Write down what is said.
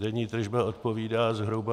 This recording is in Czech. denní tržba odpovídá zhruba...